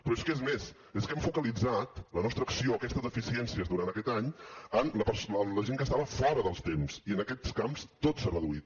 però és que és més és que hem focalitzat la nostra acció per aquestes deficiències durant aquest any en la gent que estava fora dels temps i en aquests camps tot s’ha reduït